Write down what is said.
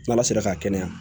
N'ala sera ka kɛnɛya